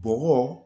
Bɔgɔ